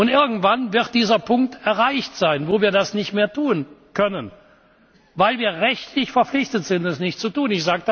Und irgendwann wird dieser Punkt erreicht sein, wo wir das nicht mehr tun können, weil wir rechtlich verpflichtet sind, das nicht zu tun.